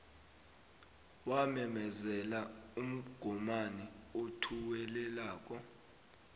wamemezela umgomani othuwelelako